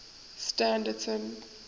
standerton